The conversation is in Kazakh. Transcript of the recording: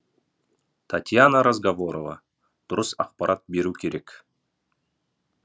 татьяна разговорова дұрыс ақпарат беру керек